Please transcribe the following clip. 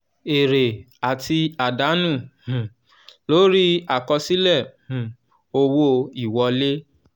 èrè àti àdánù um lórí àkọsílẹ̀ um owó ìwọlé.